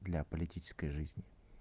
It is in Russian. для политической жизни